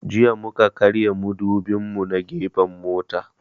Jiya mu ka karya mudubin mu na gefen mota